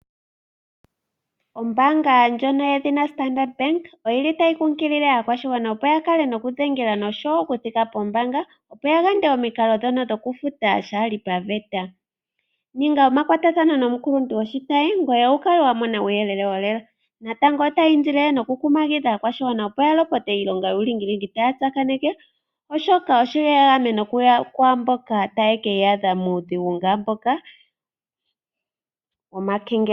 Ombanga ndjono yedhina Standard bank oyili tayi kunkilile aakwahsigwana opo ya kale nokudhengela noshowo okuthika pombanga, opo ya yande omikalo dhono dhoku futa shaali paveta. Ninga omakwatathano nomukuluntu goshitayi ngoye wu kale wa mona uuyelele wo lela. Natango otayi indile nokukumagidha aakwashigwana opo ya lopote iilonga yuulingilingi taa tsakaneke, oshoka osho ya gamene kwaamboka taye keyaadha muudhigu onga mboka womakengelelo.